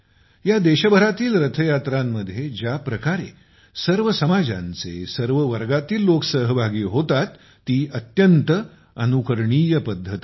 या देशभरातील रथयात्रांमध्ये ज्या प्रकारे सर्व समाजांचे सर्व वर्गातील लोक सहभागी होतात ती अत्यंत अनुकरणीय पद्धत आहे